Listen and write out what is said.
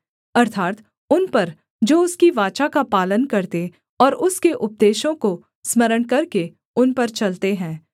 अर्थात् उन पर जो उसकी वाचा का पालन करते और उसके उपदेशों को स्मरण करके उन पर चलते हैं